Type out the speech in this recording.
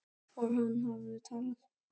Og hann hafði talað.